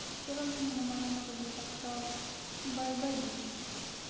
ты всё равно не на моём уровне так что бай бай бич